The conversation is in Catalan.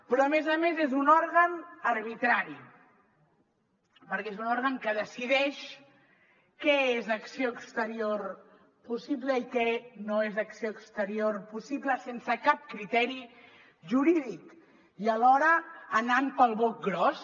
però a més a més és un òrgan arbitrari perquè és un òrgan que decideix què és acció exterior possible i què no és acció exterior possible sense cap criteri jurídic i alhora anant pel broc gros